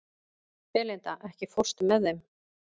Belinda, ekki fórstu með þeim?